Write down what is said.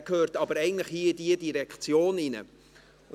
Er gehört aber eigentlich hier in diese Direktion hinein.